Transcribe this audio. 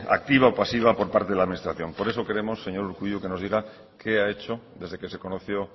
activa o pasiva por parte de la administración por eso queremos señor urkullu que nos diga qué ha hecho desde que se conoció